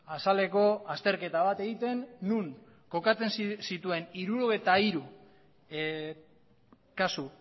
azaleko azterketa bat egiten non kokatzen zituen hirurogeita hiru kasu